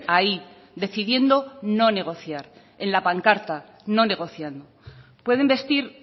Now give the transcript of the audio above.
ahí decidiendo no negociar en la pancarta no negociando pueden vestir